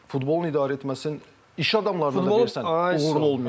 Futbolun idarə etməsini iş adamlarına da versən, uğurlu olmayacaq.